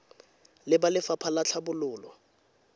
le ba lefapha la tlhabololo